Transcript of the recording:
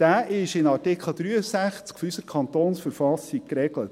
Dieser ist in Artikel 63 unserer Kantonsverfassung geregelt.